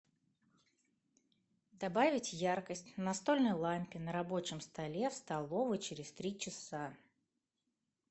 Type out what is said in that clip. добавить яркость на настольной лампе на рабочем столе в столовой через три часа